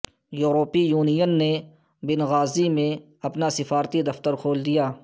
یورپی یونین نے Benghazi میں اپنا سفارتی دفتر کھول دیا